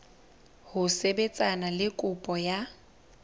ho sebetsana le kopo ya